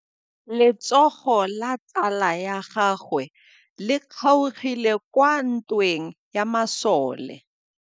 Letsôgô la tsala ya gagwe le kgaogile kwa ntweng ya masole.